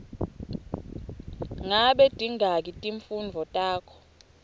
ngabe tingaki timfundvo takho